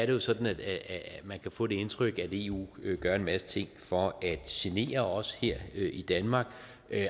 jo sådan at man kan få det indtryk at eu gør en masse ting for at genere os her i danmark